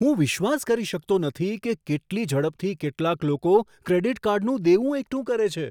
હું વિશ્વાસ કરી શકતો નથી કે કેટલી ઝડપથી કેટલાક લોકો ક્રેડિટ કાર્ડનું દેવું એકઠું કરે છે.